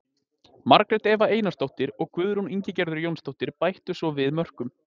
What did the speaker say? Margrét Eva Einarsdóttir og Guðrún Ingigerður Jónsdóttir bættu svo við mörkum.